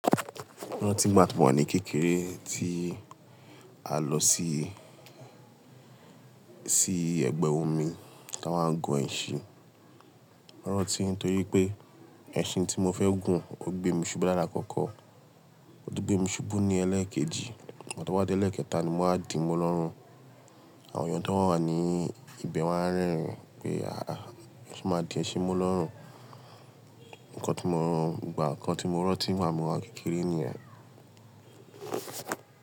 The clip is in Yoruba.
Rántí gbá ti wà ní kékeré tí a lọ sí, sí ẹ̀gbẹ́ omi tí a máa ń gun ẹṣin. Rántí torí pé ẹṣin tí mo fẹ́ gùn ó gbé mi ṣubú dáadáa kọ́kọ́, ó tun gbé mi ṣubú ní ẹlẹ́ẹ̀kejì, lgbá to wa di ẹlẹ́ẹ̀kẹta ni mo máa di mu lọ́run. Àwọn èèyàn tó wà ní ibẹ̀ wáa rerìn wí pé "àá, e ṣe máa di ẹṣin mu lọ́run". Ǹkọ́ tí mo ràn, ìgbà kan tí mo rántí máa mọ̀ wá kékeré ni yẹn.